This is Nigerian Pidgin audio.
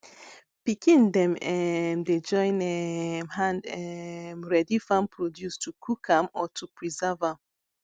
pikin dem um dey join um hand um ready farm produce to cook am or to preserve am